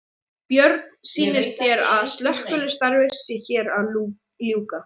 Björn: Sýnist þér að slökkvistarfi sé hér að ljúka?